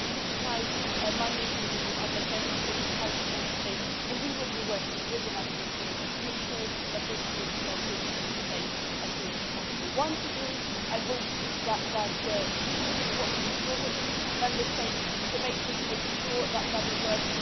We have put aside money in the MFF in order to help Member States, and we will be working with the national authorities to make sure that this is put into place as soon as possible. Once it is in place, I hope that you will be watching your different Member States debating and making sure that it works.